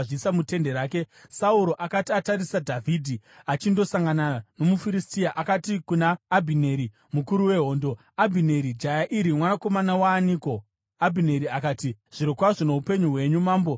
Sauro akati atarisa Dhavhidhi achindosangana nomuFiristia, akati kuna Abhineri, mukuru wehondo, “Abhineri, jaya iri mwanakomana waaniko?” Abhineri akati, “Zvirokwazvo noupenyu hwenyu, mambo, ini handizivi.”